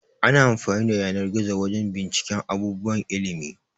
Ana amfani da yanar-gizo wajan binciken abubuwan ilimi